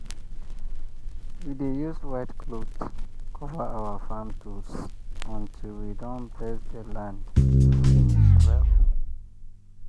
we dey use white cloth cover our farm tools until we don bless the land finish well.